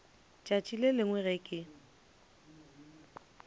tšatši le lengwe ge ke